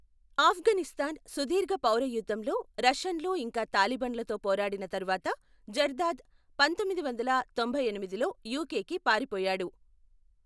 ఆఫ్ఘనిస్తాన్ సుదీర్ఘ పౌర యుద్ధంలో రష్యన్లు ఇంకా తాలిబాన్లతో పోరాడిన తర్వాత జర్దాద్ పంతొమ్మిది వందల తొంభైఎనిమిదిలో యుకెకి పారిపోయాడు.